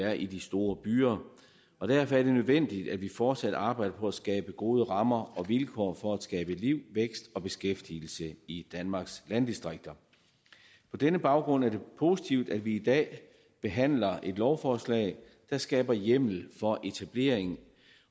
er i de store byer og derfor er det nødvendigt at vi fortsat arbejder på at skabe gode rammer og vilkår for at skabe liv vækst og beskæftigelse i danmarks landdistrikter på denne baggrund er det positivt at vi i dag behandler et lovforslag der skaber hjemmel for etablering